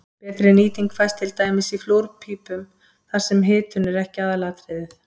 Betri nýting fæst til dæmis í flúrpípum þar sem hitun er ekki aðalatriðið.